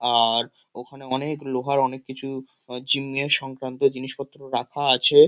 আর ওখানে অনেক লোহার অনেক কিছু আ জিম -এর সংক্রান্ত জিনিসপত্র রাখা আছে।